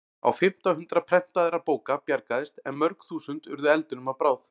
Á fimmta hundrað prentaðra bóka bjargaðist en mörg þúsund urðu eldinum að bráð.